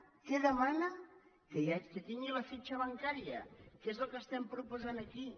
què demana que tingui la fitxa bancària que és el que estem proposant aquí